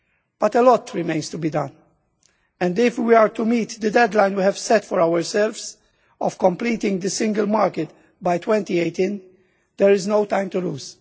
But a lot remains to be done and, if we are to meet the deadline we have set for ourselves of completing the single market by 2018, there is no time to lose.